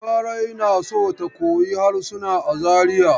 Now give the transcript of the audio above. Larai na so ta koyi harsuna a Zariya.